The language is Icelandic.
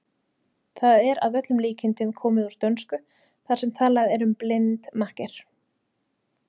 Það er að öllum líkindum komið úr dönsku þar sem talað er um blind makker.